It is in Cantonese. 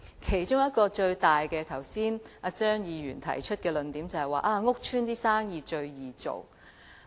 他剛才提出的其中一個主要論點就是"屋邨生意最易做"。